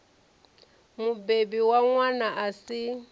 mubebi wa ṅwana a si